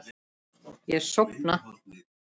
Ég sofna.